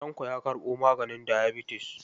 Tanko ya karɓo maganin diyabatis..